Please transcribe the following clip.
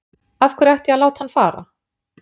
Af hverju ætti ég að láta hann fara?